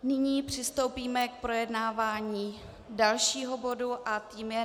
Nyní přistoupíme k projednávání dalšího bodu a tím je